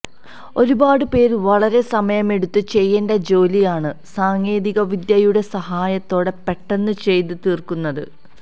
ഒരുപാട് പേര് വളരെ സമയമെടുത്ത് ചെയ്യേണ്ട ജോലിയാണ് സാങ്കേതിക വിദ്യയുടെ സഹായത്തോടെ പെട്ടന്ന് ചെയ്ത് തീര്ക്കുന്നത്